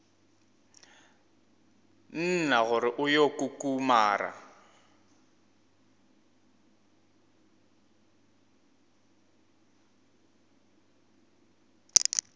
nna gore o yo kukumara